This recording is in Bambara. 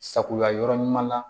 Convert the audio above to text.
Sagoya yɔrɔ ɲuman na